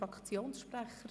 Fraktiossprecher?